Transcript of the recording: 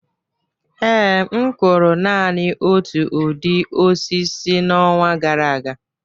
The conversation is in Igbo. Ee, m kụrụ naanị otu ụdị osisi n'ọnwa gara aga